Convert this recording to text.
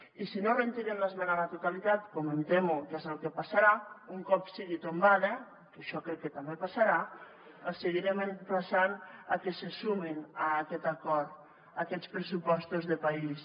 i si no retiren l’esmena a la totalitat com em temo que és el que passarà un cop sigui tombada que això crec que també passarà els seguirem emplaçant a que se sumin a aquest acord a aquests pressupostos de país